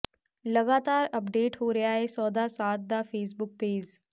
ਲਗਾਤਾਰ ਅਪਡੇਟ ਹੋ ਰਿਹਾ ਏ ਸੌਦਾ ਸਾਧ ਦਾ ਫੇਸਬੁੱਕ ਪੇਜ਼